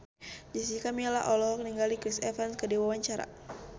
Jessica Milla olohok ningali Chris Evans keur diwawancara